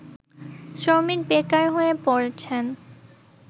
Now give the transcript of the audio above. শ্রমিক বেকার হয়ে পড়েছেন